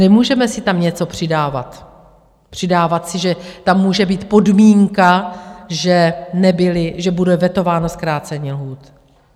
Nemůžeme si tam něco přidávat, přidávat si, že tam může být podmínka, že bude vetováno zkrácení lhůt.